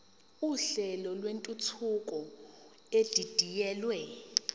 uhlelo lwentuthuko edidiyelwe